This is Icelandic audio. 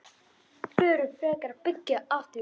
Förum frekar að byggja aftur.